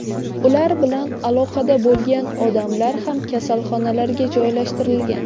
Ular bilan aloqada bo‘lgan odamlar ham kasalxonalarga joylashtirilgan.